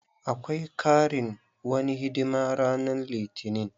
Akwai karin wani hidima ranan litinin.